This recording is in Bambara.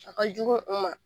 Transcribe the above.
A ka jugu u ma.